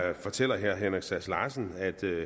herre henrik sass larsen